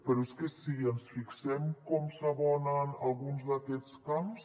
però és que si ens fixem en com s’adoben alguns d’aquests camps